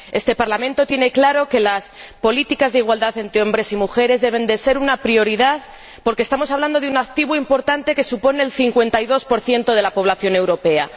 Este Parlamento tiene claro que las políticas de igualdad entre hombres y mujeres deben ser una prioridad, porque estamos hablando de un activo importante, que supone el 52 de la población europea.